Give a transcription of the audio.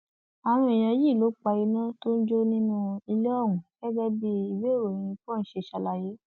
àwọn èèyàn yìí ni wọn pa iná tó ń jó nínú ilé ọhún gẹgẹ bí ìwééròyìn punch ṣe ṣàlàyé